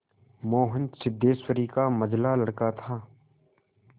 मोहन सिद्धेश्वरी का मंझला लड़का था